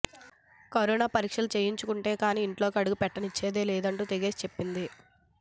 corona పరీక్షలు చేయించుకుంటే కానీ ఇంట్లోకి అడుగు పెట్టనిచ్చేది లేదంటూ తెగేసి చెప్పింది